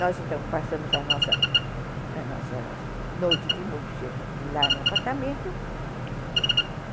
Nós, então, passamos a nossa a nossa noite de núpcias lá no apartamento.